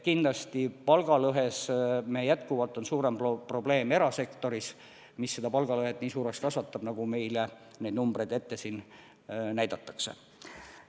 Kindlasti palgalõhe on jätkuvalt suurem probleem erasektoris, mis seda palgalõhet nii suureks kasvatabki, nagu meile neid numbreid siin ette näidatakse.